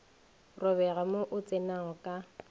robega mo o tsenago ka